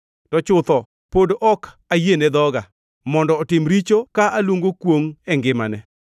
to chutho pod ok ayiene dhoga mondo otim richo ka aluongo kwongʼ e ngimane.